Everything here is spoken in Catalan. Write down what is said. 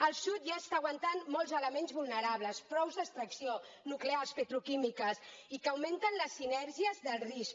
el sud ja està aguantant molts elements vulnerables pous d’extracció nuclears petroquímiques i que augmenten les sinergies del risc